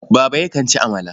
Baba yakan ci amala.